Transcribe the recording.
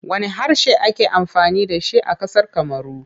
Wanne harshe ake amfani da shi a ƙasar Kamaru?